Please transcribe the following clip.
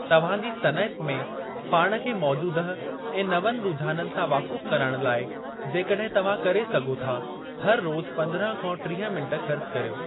तव्हां जी सनइत में पाण खे मौजूदह ऐं नवनि रूझाननि सां वाक़ुफ़ु करणु लाइ जेकॾहिं तव्हां करे सघो था, हर रोज़ु 15-30 मिंटु ख़र्चु करियो।